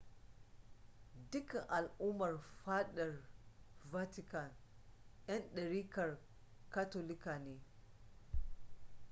dukkan al'ummar fadar vatican 'yan dariƙar katolika ne